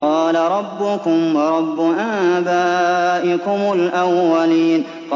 قَالَ رَبُّكُمْ وَرَبُّ آبَائِكُمُ الْأَوَّلِينَ